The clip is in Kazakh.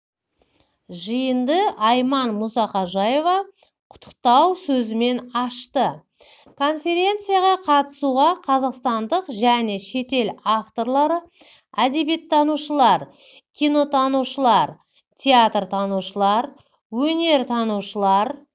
жиынды айман мұсақожаева құттықтау сөзімен ашты конференцияға қатысуға қазақстандық және шетел авторлары әдебиеттанушылар кинотанушылар театртанушылар өнертанушылар